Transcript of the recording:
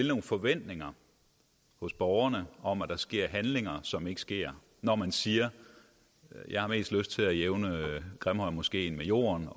nogle forventninger hos borgerne om at der sker handlinger som ikke sker når man siger at jeg har mest lyst til at jævne grimhøjmoskeen med jorden